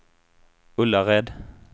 Ullared